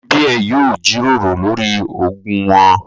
Àwọn ẹbí ẹ yóò jíròrò lórí ogún wọn